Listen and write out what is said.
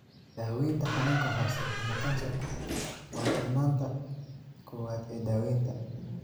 Daawaynta xanuunka hoose ama kansarku waa mudnaanta koowaad ee daawaynta.